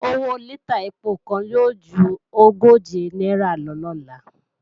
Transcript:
Owó lítà ẹpo kan yóò ju ogóje náírà lọ lọ́la